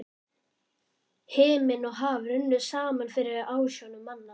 Himinn og haf runnu saman fyrir ásjónum manna.